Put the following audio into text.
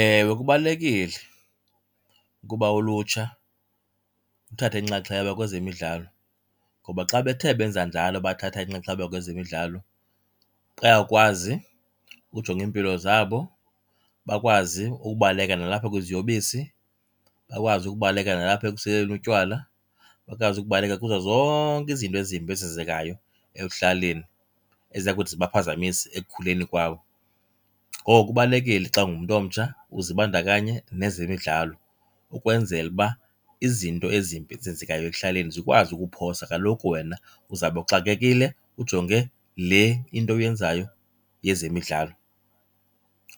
Ewe, kubalulekile ukuba ulutsha luthathe inxaxheba kwezemidlalo. Ngoba xa bethe benza njalo bathatha inxaxheba kwezemidlalo, bayakwazi ukujonga iimpilo zabo, bakwazi ukubaleka nalapha kwiziyobisi, bakwazi ukubaleka nalapha ekuseleni utywala, bakwazi ukubaleka kuzo zonke izinto ezimbi ezenzekayo ekuhlaleni eziya kuthi zibaphazamise ekukhuleni kwabo. Ngoku kubalulekile xa ungumntu omtsha uzibandakanye nezemidlalo ukwenzela uba izinto ezimbi ezenzekayo ekuhlaleni zikwazi ukukuphosa, kaloku wena uzabe uxakekile ujonge le into uyenzayo yezemidlalo.